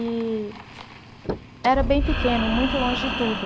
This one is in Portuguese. E era bem pequeno, muito longe de tudo.